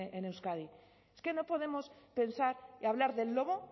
en euskadi es que no podemos pensar hablar del lobo